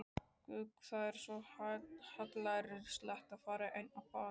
Guð, það er svo hallærislegt að fara ein á ball.